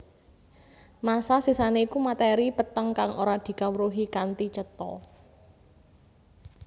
Massa sisané iku matèri peteng kang ora dikawruhi kanthi cetha